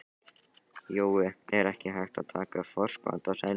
Jói, er ekki hægt að taka forskot á sæluna?